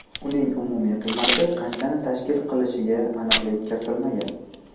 Uning umumiy qiymati qanchani tashkil qilishiga aniqlik kiritilmagan.